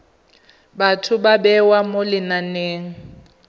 batho ba bewa mo lenaneng